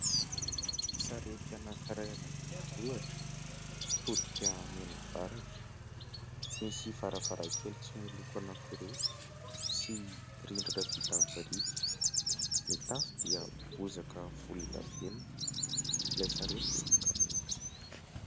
Sarety anankiray any ambanivohitra mitodika mianavaratra, misy varavarankely tsy miloko anankiroa sy rindrina vita birika, ny tafo dia bozaka volondavenona, ilay sarety dia mangamanga.